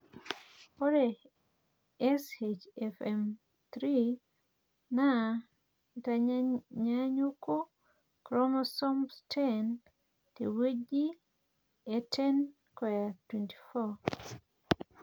ore SHFM 3 naa tenanyaanyuku choromosomes 10 te wueji e 10q24.